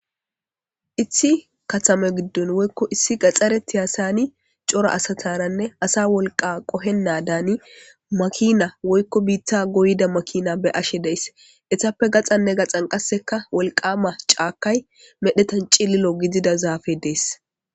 Issi katame giddon woykko issi gaxxareti hasani cora asataranne asa wolqa qohennaa daani makina woykko biitta goyda makina be ashe deess esappe gaxanne gaxan qasseka wolqama caakay medhetan cililo gidida zaafe dees.